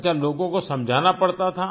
अच्छा लोगों को समझाना पड़ता था